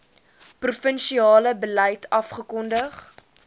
provinsiale beleid afgekondig